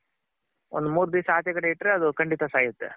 ಒಂದ್ ಮೂರ್ ದಿಸ ಆಚೆಗಡೆ ಇಟ್ರೆ ಅದು ಖಂಡಿತ ಸಾಯುತ್ತೆ.